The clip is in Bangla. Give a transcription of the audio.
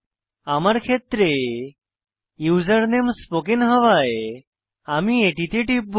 আমার ক্ষেত্রে ইউসার নেম স্পোকেন হওয়ায় আমি এটিতে টিপব